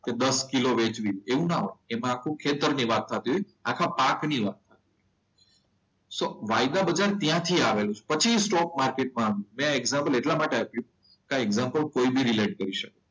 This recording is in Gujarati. કે દસ કિલો વેચવી છે એવી ન હોય એમાં આખા ખેતરની વાત થતી હોય આખા પાક ની વાત. સો વાયદા બજાર ત્યાંથી આવેલું છે. પછી સ્ટોક માર્કેટ આવ્યું. મેં આ એક્ઝામ્પલ એટલા માટે આપ્યું કે આ એક્ઝામ્પલ કોઇ બી રિલેટ કરી શકે.